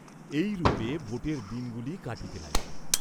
এইরূপে বোটের দিন গুলি কাটিতে লাগিল।